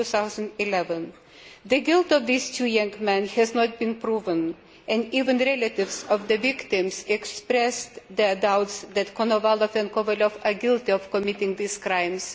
2011. The guilt of these two young men has not been proven and even relatives of the victims expressed their doubts that Konovalov and Kovalyov are guilty of committing these crimes.